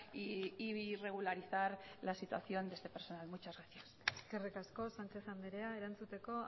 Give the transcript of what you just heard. y regularizar la situación de este personal muchas gracias eskerrik asko sánchez andrea erantzuteko